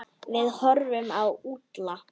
Við horfðum á Úlla.